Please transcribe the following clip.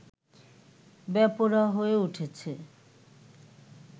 বেপরোয়া হয়ে উঠেছে